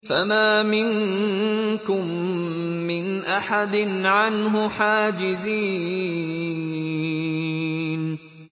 فَمَا مِنكُم مِّنْ أَحَدٍ عَنْهُ حَاجِزِينَ